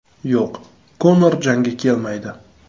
Yo‘q, Konor jangga kelmaydi.